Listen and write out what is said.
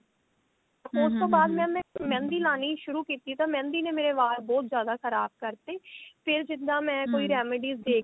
ਉਸ ਤੋਂ ਬਾਅਦ mam ਮੈਂ ਮਹਿੰਦੀ ਲਾਣੀ ਸ਼ੁਰੂ ਕੀਤੀ ਤਾਂ ਮਹਿੰਦੀ ਨੇ ਮੇਰੇ ਵਾਲ ਬਹੁਤ ਜਿਆਦਾ ਖ਼ਰਾਬ ਕਰਤੇ ਫੇਰ ਜਿੱਦਾਂ ਮੈਂ ਕੋਈ remedies ਦੇਖਦੀ